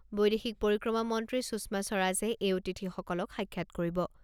বৈদেশিক পৰিক্ৰমা মন্ত্ৰী সুষমা স্বৰাজে এই অতিথিসকলক সাক্ষাৎ কৰিব।